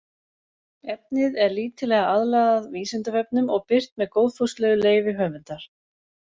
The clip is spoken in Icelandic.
Efnið er lítillega aðlagað Vísindavefnum og birt með góðfúslegu leyfi höfundar.